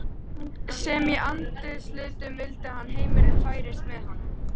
sem í andarslitrunum vildi að heimurinn færist með honum.